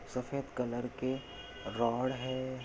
सफ़ेद कलर के रॉड है।